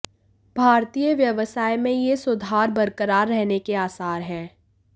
भारतीय व्यवसाय में ये सुधार बरकरार रहने के आसार हैं